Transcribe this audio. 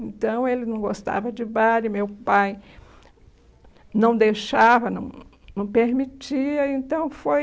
Então, ele não gostava de baile, meu pai não deixava, não não permitia, então foi...